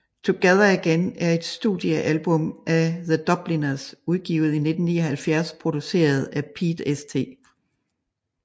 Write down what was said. Together Again er et studiealbum af The Dubliners udgivet i 1979 produceret af Pete St